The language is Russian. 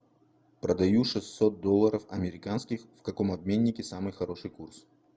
продаю шестьсот долларов американских в каком обменнике самый хороший курс